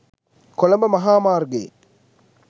කොළඹ මහා මාර්ගයේ